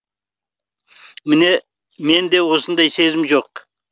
мен де ондай сезім жоқ